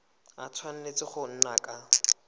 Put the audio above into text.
a tshwanetse go nna ka